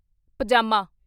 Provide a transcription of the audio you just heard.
ਪਜਾਮਾ